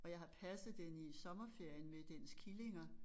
Og jeg har passet den i sommerferien med dens killinger